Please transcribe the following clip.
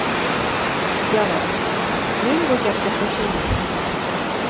Javob: Men bu gapga qo‘shilmayman.